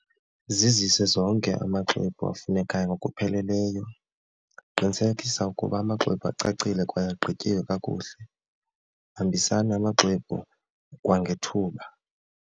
Zizise zonke amaxwebhu afunekayo ngokupheleleyo, qinisekisa ukuba amaxwebhu acacile kwaye agqityiwe kakuhle, hambisani amaxwebhu kwangethuba.